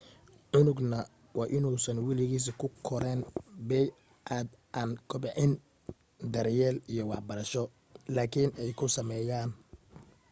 cunugna waa in uusan waligiis ku koraan bey'ad aan kobcin daryeel iyo waxbarasho laakiin ay ku sameeyaan